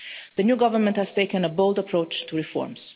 The new government has taken a bold approach to reforms.